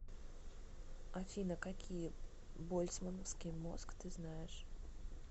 афина какие больцмановский мозг ты знаешь